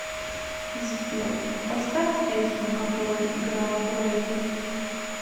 сбер поставь песню которая играла до этой